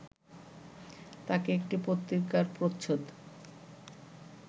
তাঁকে একটি পত্রিকার প্রচ্ছদ